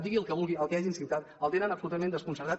digui el que vulgui el que hagin incitat el tenen absolutament desconcertat